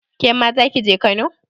Kema zaki je Kano?